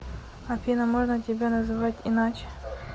афина можно тебя называть иначе